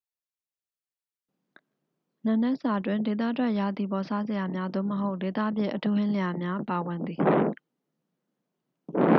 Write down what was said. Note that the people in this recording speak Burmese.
နံနက်စာတွင် ဒေသထွက် ရာသီပေါ်စားစရာများ သို့မဟုတ် ဒေသဖြစ်အထူးဟင်းလျာများ ပါဝင်သည်